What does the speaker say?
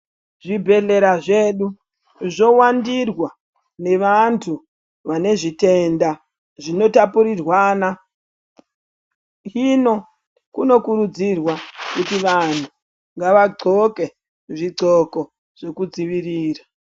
Zvibhedhlera zvedu zvo wandirwa ne vantu vane zvitenda zvino tapurirwana hino kuno kurudzirwa kuti vanhu ngava ndxoke zvi ndxoko zveku dzivirira.